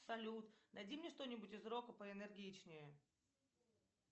салют найди мне что нибудь из рока поэнергичнее